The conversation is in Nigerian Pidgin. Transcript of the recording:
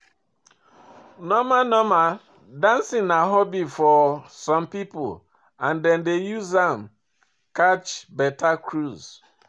Normal normal, dancing na hobby for some pipo and dem dey use am catch better cruise